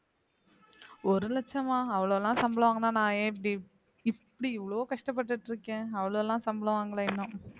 ஒரு லட்சமா அவ்வளோலாம் சம்பளம் வாங்கினா நான் ஏன் இப்படி இப்படி இவ்வளோ கஷ்டப்பட்டுட்டு இருக்கேன் அவ்வளவு எல்லாம் சம்பளம் வாங்கலை இன்னும்